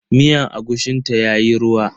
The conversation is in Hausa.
Miyar agushin ta yayi ruwa.